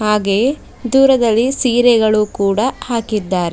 ಹಾಗೆ ದೂರದಲ್ಲಿ ಸೀರೆಗಳು ಕೂಡ ಹಾಕಿದ್ದಾರೆ.